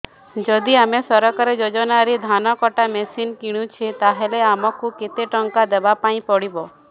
ଯଦି ଆମେ ସରକାରୀ ଯୋଜନାରେ ଧାନ କଟା ମେସିନ୍ କିଣୁଛେ ତାହାଲେ ଆମକୁ କେତେ ଟଙ୍କା ଦବାପାଇଁ ପଡିବ